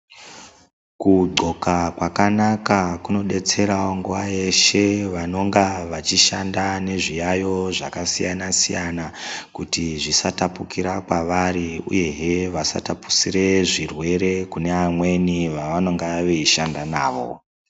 Kudhloka kwakanaka kuno detserawo nguwa yeshe vanonga vachishanda nezviyayo zvakasiyanasiyana kuti zvisatapukira kwavari uyehe vasatapusire zvirwere kune vamweni vavanonga veishanda navo.